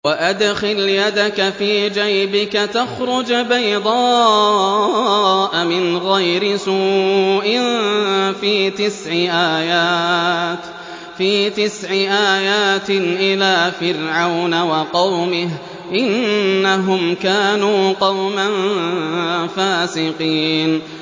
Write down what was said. وَأَدْخِلْ يَدَكَ فِي جَيْبِكَ تَخْرُجْ بَيْضَاءَ مِنْ غَيْرِ سُوءٍ ۖ فِي تِسْعِ آيَاتٍ إِلَىٰ فِرْعَوْنَ وَقَوْمِهِ ۚ إِنَّهُمْ كَانُوا قَوْمًا فَاسِقِينَ